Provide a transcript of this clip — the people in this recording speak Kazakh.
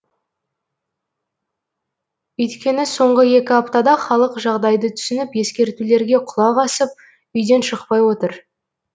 өйткені соңғы екі аптада халық жағдайды түсініп ескертулерге құлақ асып үйден шықпай отыр